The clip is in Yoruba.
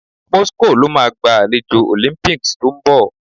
Moscow lo máa gba àlejò Olympics to ń bọ